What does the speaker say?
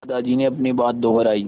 दादाजी ने अपनी बात दोहराई